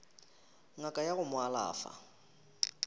ngaka ya go mo alafa